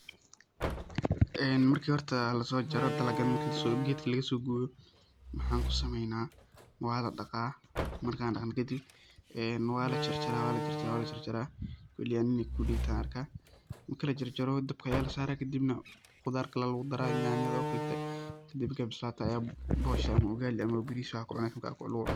Een marka horta lasojaro dalagan marki gedka laga sogoyo maxan ku samena waa ladaqaa markan daqna kadib een waa la jarjara waa la jarjara wali ani ineey kundey taha arkaa marki la jarjaroo dabka aya lasaraa kadibna khudaar kale lagu daraa, yanyada oo kaleto, kadib markey bislato aya boshaa ama ugali ama baris waxa kucuni karto lagu cuna.